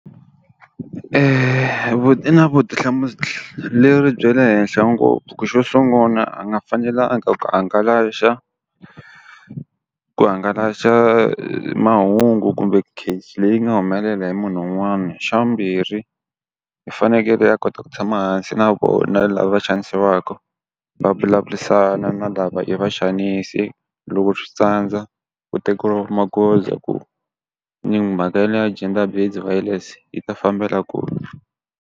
I na vutihlamuleri bya le henhla ngopfu ku xo sungula a nga fanelanga ku ku hangalasa mahungu kumbe case leyi nga humelela hi munhu un'wana. Xa vumbirhi, i fanekele a kota ku tshama hansi na vona lava va xanisiwaka va vulavurisana na lava i va xanisi loko swi tsandza ku tekeriwa magoza ku mhaka leyi ya gender based violence yi ta fambela kule.